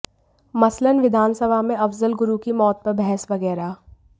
मसलन विधानसभा में अफजल गुरु की मौत पर बहस वगैरह